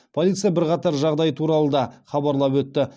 полиция бірқатар жағдай туралы да хабарлап өтті